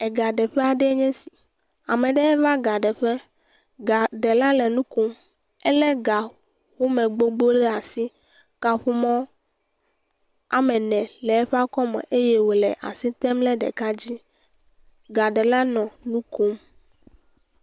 Gaɖeƒe aɖe enye si. Ame aɖe va ga ɖeƒe. Gaɖela le nu kom. Ele ga home gbogbo ɖe asi. Kaƒomɔ ame ene le eƒe akɔme eye wole asi tem ɖe ɖeka dzi. Gaɖela nɔ nu kom.